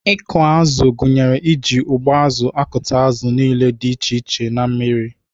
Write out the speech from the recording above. Ịkụ azụ gụnyere iji ụgbụazụ akụta azụ niile dị iche iche na mmiri.